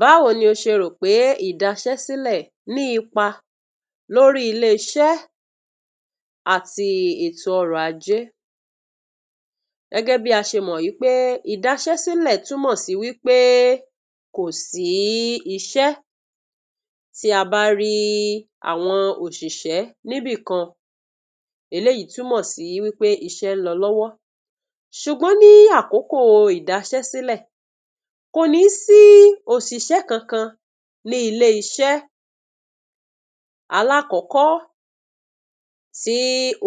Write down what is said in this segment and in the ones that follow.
Báwo ni o ṣe rò pé ìdaṣẹ́sílẹ̀ ní ipa lórí ilé-iṣẹ́ àti ètò ọrọ̀-ajé? Gẹ́gẹ́ bí a ṣe mọ̀ wí pé ìdaṣẹ́sílẹ̀ túnmọ̀ sí wí pé kò sí iṣẹ́. Tí a bá rí àwọn òṣìṣẹ́ níbìkan, eléyìí túnmọ̀ sí wí pé iṣẹ́ ń lọ lọ́wọ́. Ṣùgbọ́n ní àkókò ìdaṣẹ́sílẹ̀, kò ní sí òṣìṣẹ́ kankan ní ilé-iṣẹ́. Alákọ̀ọ́kọ́, tí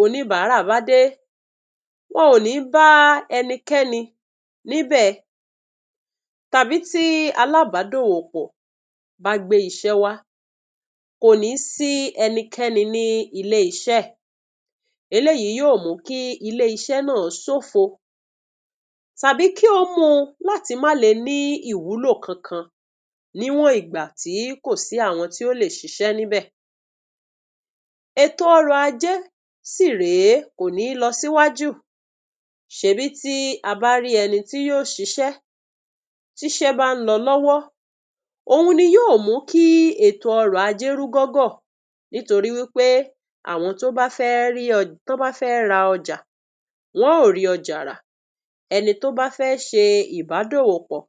oníbàárà bá dé, wọn ò ní bá ẹnikẹ́ni níbẹ̀, tàbí tí alábàádòwòpọ̀ bá gbé iṣẹ́ wá, kò ní sí ẹnikẹ́ni ní ilé-iṣẹ́. Eléyìí yóò mú kí ilé-iṣẹ́ náà ṣófo, tàbí kí ó mú u láti má le ní ìwúlò kankan níwọ̀n ìgbà tí kò sí àwọn tí ó lè ṣiṣẹ́ níbẹ̀. Ètò ọrọ̀-ajé sì rèé, kò ní lọ síwájú. Ṣèbí tí a bá rí ẹni tí yó ṣiṣẹ́, tíṣẹ́ bá ń lọ lọ́wọ́ òhun ni yóò mú kí ètò ọrọ̀-ajé rúgọ́gọ́ nítorí wí pé àwọn tó bá fẹ́ rí ọ, tán bá fẹ́ ra ọjà, wọn ó rí ọjà rà. Ẹni tó bá fẹ́ ṣe ìbádòwòpọ̀,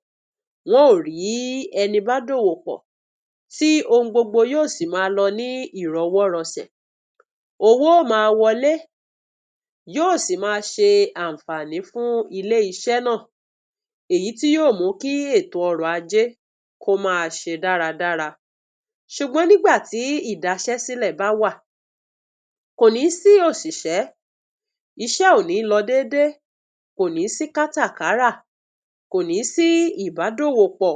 wọn ó rí ẹni bá dòwòpọ̀, tí ohun gbogbo yóò sì máa lọ ní ìrọwọ́rọsẹ̀. Owó ó máa wọlé yóò sì máa ṣe ànfààní fún ilé-iṣẹ́ náà, èyí tí yóò mú kí ètò ọrọ̀-ajé kó máa ṣe dáradára. Ṣùgbọ́n nígbà tí ìdaṣẹ́sílẹ̀ bá wà, kò ní sí òṣìṣẹ́, iṣẹ́ ò ní lọ déédé, kò ní sí kátàkárà, kò ní sí ìbádòwòpọ̀,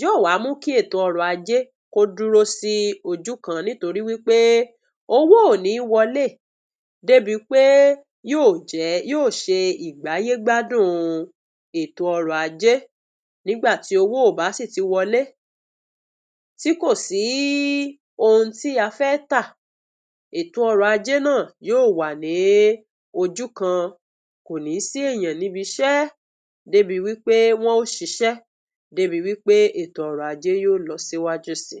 yóò wá mú kí ètò ọrọ̀-ajé kó dúró sí ojú kan níyorí wí pé owó ò ní wọlé débi pé yóò ṣe ìgbáyégbádùn ètò ọrọ̀-ajé. Nígbà tí owó ò bá sì ti wọlé, tí kò sí ohun tí a fẹ́ tà, ètò ọrọ̀-ajé náà yóò wà ní ojú kan, kò ní sí èeyàn níbi iṣẹ́ débi wí pé ètò ọrọ̀-ajé yó lọ síwájú síi.